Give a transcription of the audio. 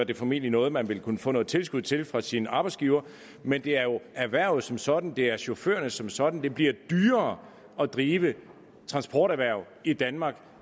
det formentlig noget man vil kunne få noget tilskud til fra sin arbejdsgiver men det er jo erhvervet som sådan det er chaufførerne som sådan det bliver dyrere at drive transporterhverv i danmark